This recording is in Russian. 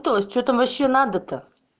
тоесть что там вообще надо то